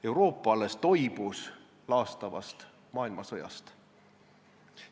Euroopa alles toibus laastavast maailmasõjast.